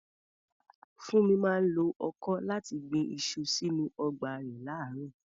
Funmi máa ń lo ọkọ́ láti gbin iṣu sínú ọgbà rẹ̀ láàárọ̀.